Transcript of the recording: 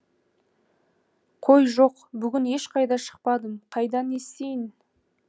қой жоқ бүгін ешқайда шықпадым қайдан естиін